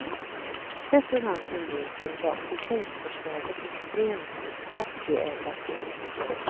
Sett ur hans synvinkel var fusionsförslaget extremt aktieägarfientligt.